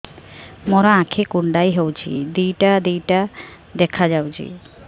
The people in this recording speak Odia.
ମୋର ଆଖି କୁଣ୍ଡାଇ ହଉଛି ଦିଇଟା ଦିଇଟା ଦେଖା ଯାଉଛି